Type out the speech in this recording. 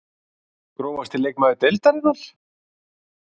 Grófasti leikmaður deildarinnar?????